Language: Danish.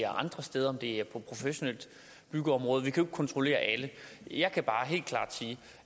andre steder om det er på et professionelt byggeområde vi kan kontrollere alle jeg kan bare helt klart sige at